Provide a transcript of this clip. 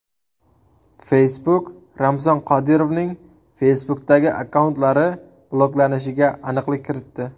Facebook Ramzan Qodirovning Facebook’dagi akkauntlari bloklanishiga aniqlik kiritdi.